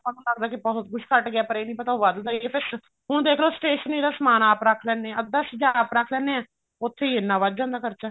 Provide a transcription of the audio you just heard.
ਆਪਾਂ ਨੂੰ ਲੱਗਦਾ ਕੇ ਸਭ ਕੁੱਝ ਘਟ ਗਿਆ ਪਰ ਇਹ ਨੀ ਪਤਾ ਉਹ ਵਧਦਾ ਹੀ ਹੈ ਹੁਣ ਦੇਖਲੋ stationery ਦਾ ਸਮਾਨ ਆਪ ਰੱਖ ਲੈਂਦੇ ਨੇ ਅੱਧੀ ਚੀਜ਼ਾਂ ਆਪ ਰੱਖ ਲੈਂਦੇ ਨੇ ਉੱਥੀ ਇੰਨਾ ਵੱਧ ਜਾਂਦਾ ਖਰਚਾ